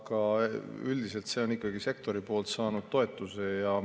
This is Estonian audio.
Aga üldiselt see on ikkagi saanud sektori toetuse.